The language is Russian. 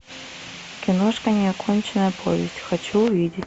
киношка неоконченная повесть хочу увидеть